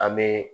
An bɛ